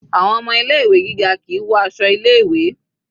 Àwọn ọmọ ilé ìwé gíga kìí wọ aṣọ ilé ìwé.